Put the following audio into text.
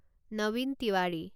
Nabin Tewari